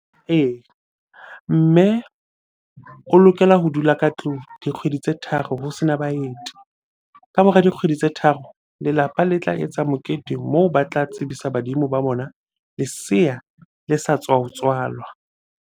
Ee, mme o lokela ho dula ka tlung dikgwedi tse tharo ho sena baeti. Ka mora dikgwedi tse tharo, lelapa le tla etsa mokete moo ba tla tsebisa badimo ba bona leseya le sa tswa ho tswalwa.